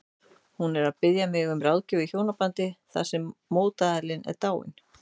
Hún er að biðja mig um ráðgjöf í hjónabandi þar sem mótaðilinn er dáinn.